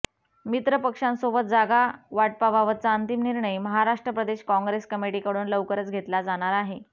मित्र पक्षांसोबत जागा वाटपा बाबतचा अंतिम निर्णय महाराष्ट्र प्रदेश काँग्रेस कमिटीकडून लवकरच घेतला जाणार आहे